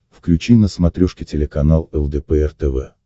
включи на смотрешке телеканал лдпр тв